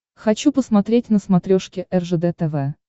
хочу посмотреть на смотрешке ржд тв